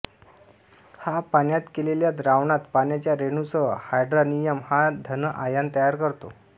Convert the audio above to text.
हा पाण्यात केलेल्या द्रावणात पाण्याच्या रेणूसह हायड्रॉनियम हा धन आयन तयार करतो